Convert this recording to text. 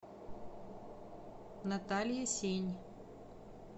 наталья сень